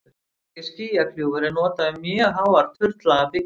hugtakið skýjakljúfur er notað um mjög háar turnlaga byggingar